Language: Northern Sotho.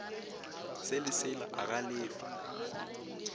se le sela a galefa